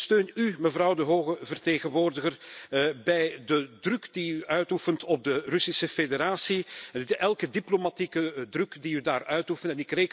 En ik steun u, mevrouw de hoge vertegenwoordiger, bij de druk die u uitoefent op de Russische Federatie, bij elke diplomatieke druk die u daar uitoefent.